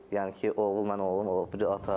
Yəni ki, oğul mən, oğlum o biri ata.